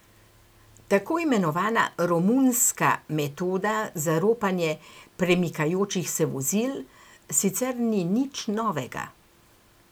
Tako imenovana romunska metoda za ropanje premikajočih se vozil sicer ni nič novega.